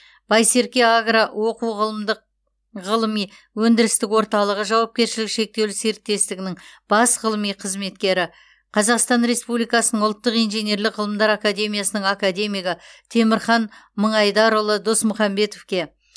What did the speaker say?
байсерке агро оқу ғылымдық ғылыми өндірістік орталығы жауапкершілігі шектеулі серіктестігінің бас ғылыми қызметкері қазақстан республикасының ұлттық инженерлік ғылымдар академиясының академигі темірхан мыңайдарұлы досмұхамбетовке